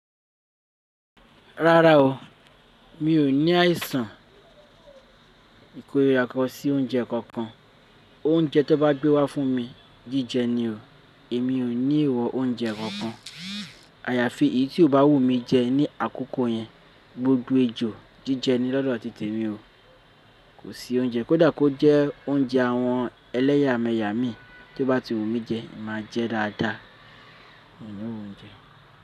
Rárá o, mi ò ní àìsàn ìkórira kan sí oúnjẹ kankan. Oúnjẹ tiwọn bá gbé wá fún mi jíjẹ ni o. Èmi ò ní ìwọ oúnjẹ kankan. Àyàfi èyí tí ó bá wù mí jẹ ní àkókò yẹn gbogbo ejò jíjẹ ni lọ́dọ̀ ti tèmi o. Kò sí oúnjẹ, kódà kó jẹ́ oúnjẹ àwọn ẹlẹ́yàmẹ̀yà mi tí ó bá ti wù mí jẹ, màá jẹ dáadáa. Mi ò ní wò oúnjẹ.